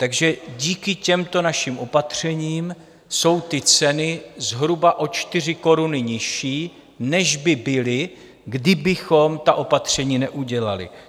Takže díky těmto našim opatřením jsou ty ceny zhruba o 4 koruny nižší, než by byly, kdybychom ta opatření neudělali.